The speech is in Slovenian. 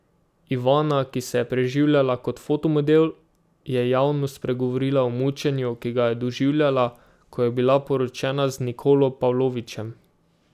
Ivana, ki se je preživljala kot fotomodel, je javno spregovorila o mučenju, ki ga je doživljala, ko je bila poročena z Nikolo Pavlovićem.